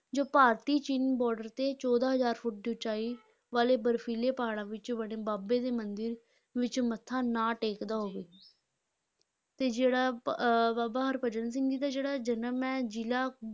ਜੋ ਭਾਰਤ-ਚੀਨ border ਤੇ ਚੌਦਾਂ ਹਜ਼ਾਰ ਫੁੱਟ ਦੀ ਉਚਾਈ ਵਾਲੇ ਬਰਫੀਲੇ ਪਹਾੜਾਂ ਵਿਚ ਬਣੇ ਬਾਬੇ ਦੇ ਮੰਦਿਰ ਵਿਚ ਮੱਥਾ ਨਾ ਟੇਕਦਾ ਹੋਵੇ ਤੇ ਜਿਹੜਾ ਅਹ ਬਾਬਾ ਹਰਭਜਨ ਸਿੰਘ ਜੀ ਦਾ ਜਿਹੜਾ ਜਨਮ ਹੈ ਜ਼ਿਲ੍ਹਾ